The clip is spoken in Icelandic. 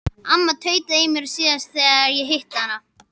Amma tautaði í mér síðast þegar ég hitti hana.